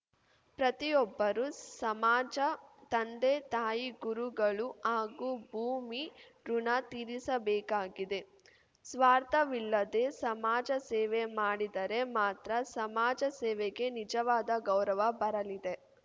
ಪ್ರತಿಯೊಬ್ಬರೂ ಸಮಾಜ ತಂದೆ ತಾಯಿ ಗುರುಗಳು ಹಾಗೂ ಭೂಮಿ ಋುಣ ತೀರಿಸಬೇಕಾಗಿದೆ ಸ್ವಾರ್ಥವಿಲ್ಲದೆ ಸಮಾಜ ಸೇವೆ ಮಾಡಿದರೆ ಮಾತ್ರ ಸಮಾಜ ಸೇವೆಗೆ ನಿಜವಾದ ಗೌರವ ಬರಲಿದೆ